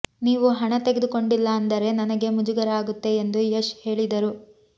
ನೀವು ಹಣ ತೆಗೆದುಕೊಂಡಿಲ್ಲ ಅಂದರೆ ನನಗೆ ಮುಜುಗರ ಆಗುತ್ತೆ ಎಂದು ಯಶ್ ಹೇಳಿದರು